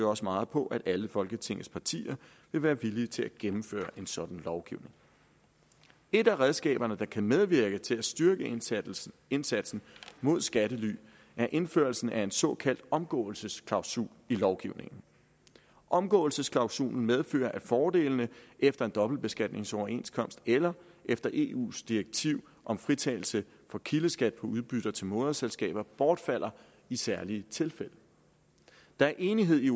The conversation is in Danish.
også meget på at alle folketingets partier vil være villige til at gennemføre en sådan lovgivning et af redskaberne der kan medvirke til at styrke indsatsen indsatsen mod skattely er indførelsen af en såkaldt omgåelsesklausul i lovgivningen omgåelsesklausulen medfører at fordelene efter en dobbeltbeskatningsoverenskomst eller efter eus direktiv om fritagelse for kildeskat på udbytter til moderselskaber bortfalder i særlige tilfælde der er enighed i